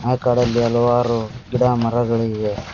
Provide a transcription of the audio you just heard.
ಆ ಕಾಡಲ್ಲಿ ಹಲವಾರು ಗಿಡ ಮರಗಳು ಇವೆ.